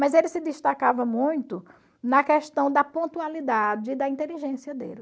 Mas ele se destacava muito na questão da pontualidade e da inteligência dele.